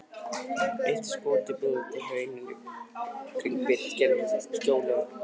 Eitt skotið buldi í hrauninu í kringum Birki en skjólið varði hann vel.